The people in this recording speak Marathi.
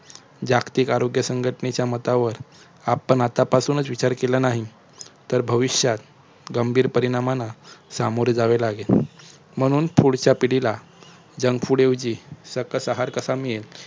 जागतिक आरोग्य संघटांचेय मतावर आपण आत्तापासूनच विचार केला नाही. तर भविष्यात गंभीर परिणामांना समोरे जावे लागेल. म्हणून पुढच्या पिढीला junk food ऐवजी सकस आहार कसा मिळेल?